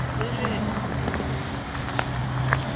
вы же